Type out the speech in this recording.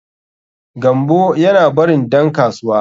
Gambo yana barin dan kasuwa.